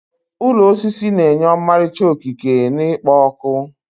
Ụlọ osisi na-enye ọmarịcha okike na ikpo ọkụ.